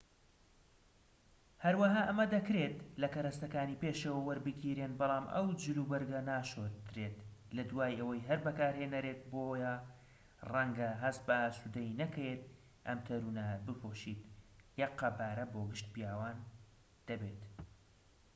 هەروەها ئەمە دەکرێت لە کەرەستەکانی پێشەوە وەربگیرێن بەڵام ئەو جل وبەرگە ناشۆردرێت لە دوای ئەوەی هەر بەکارهێنەرێک بۆیە ڕەنگە هەست بە ئاسودەیی نەکەیت ئەم تەنورانە بپۆشیت یەک قەبارە بۆ گشت پیاوان دەبێت